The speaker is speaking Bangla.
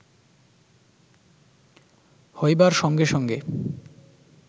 হইবার সঙ্গে সঙ্গে